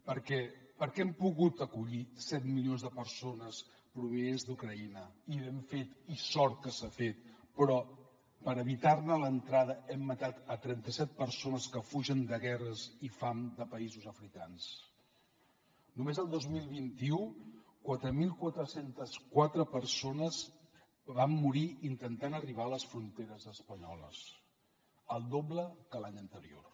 per què hem pogut acollir set milions de persones provinents d’ucraïna i ho hem fet i sort que s’ha fet però per evitar ne l’entrada hem matat trenta set persones que fugen de guerres i fam de països africans només el dos mil vint u quatre mil quatre cents i quatre persones van morir intentant arribar a les fronteres espanyoles el doble que l’any anterior